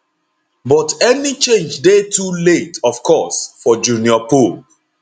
but any change dey too late of course for junior pope